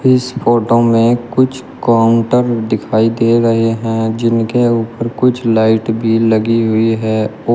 इस फोटो में कुछ काउंटर दिखाई दे रहे हैं जिनके ऊपर कुछ लाइट भी लगी हुई है औ--